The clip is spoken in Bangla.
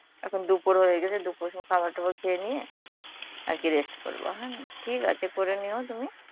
এখন দুপুর হয়ে গেছে, দুপুরে সব খাবার টাবার খেয়ে নিয়ে আর কী rest করব হ্যাঁ, ঠিক আছে করে নিও তুমি.